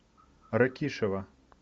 ракишева